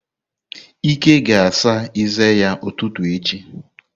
Ike ga ásà eze ya ututu echi.